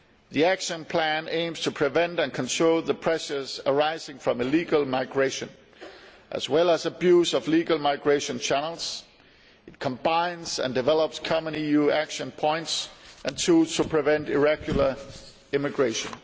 The action plan aims to prevent and control the pressures arising from illegal migration as well as abuse of legal migration channels. It combines and develops common EU action points and tools to prevent irregular immigration.